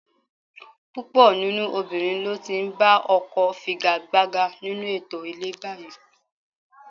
Púpọ̀ nínú obìnrin ló ti ń ba ọkọ figagbága nínú ètò ilé báyìí